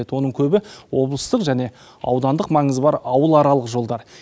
оның көбі облыстық және аудандық маңызы бар ауыл аралық жолдар